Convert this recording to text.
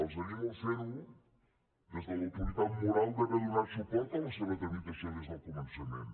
els animo a fer ho des de l’autoritat moral d’haver donar suport a la seva tramitació des del començament